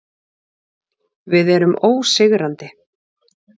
Við erum ósigrandi.